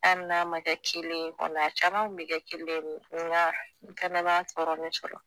Anli n'a ma kɛ celen ye kɔni a caman kun be kɛ kelen de ola n fɛnɛ b'a tɔɔrɔni sɔrɔ